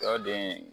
Sɔ den